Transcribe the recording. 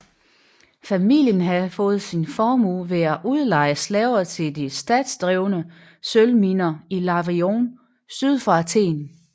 Familien havde fået sin formue ved at udleje slaver til de statsdrevne sølvminer i Lavrion syd for Athen